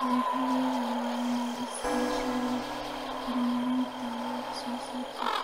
Beeralayda waa in ay iska kaashadaan horumarinta wax soo saarka.